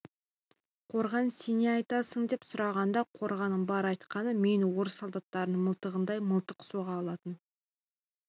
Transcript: қорған сен не айтасың деп сұрағанда қорғанның бар айтқаны мен орыс солдаттарының мылтығындай мылтық соға алатын